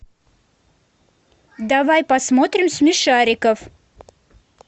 давай посмотрим смешариков